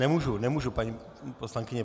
Nemůžu, nemůžu, paní poslankyně.